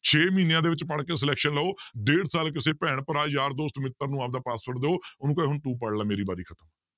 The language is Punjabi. ਛੇ ਮਹੀਨਿਆਂ ਦੇ ਵਿੱਚ ਪੜ੍ਹਕੇ selection ਲਓ ਡੇਢ ਸਾਲ ਕਿਸੇ ਭੈਣ-ਭਰਾ, ਯਾਰ, ਦੋਸਤ-ਮਿੱਤਰ ਨੂੰ ਆਪਦਾ password ਦਓ ਉਹਨੂੰ ਕਹਿ ਹੁਣ ਤੂੰ ਪੜ੍ਹ ਲਾ ਮੇਰੀ ਵਾਰੀ ਖ਼ਤਮ